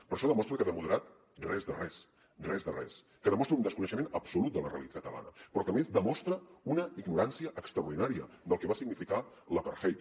però això demostra que de moderat res de res res de res que demostra un desconeixement absolut de la realitat catalana però que a més demostra una ignorància extraordinària del que va significar l’apartheid